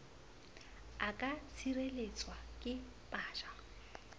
a ka tshireletswa ke paja